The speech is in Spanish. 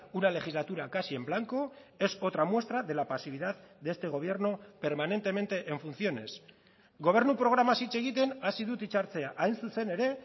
una legislatura casi en blanco es otra muestra de la pasividad de este gobierno permanentemente en funciones gobernu programaz hitz egiten hasi dut hitzartzea hain zuzen ere